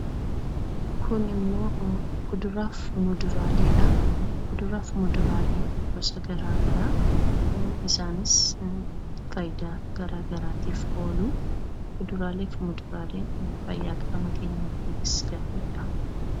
Kuduraa fi muduraaleen gosa garaa garaadha. Isaanis faayidaa garaa garaatiif oolu. Kuduraa fi muduraaleen fayyaa qaama keenyaatiifis gaariidha.